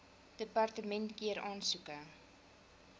departement keur aansoeke